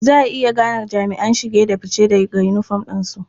Za a iya gane jami'an shige da fice daga yinifom ɗinsu.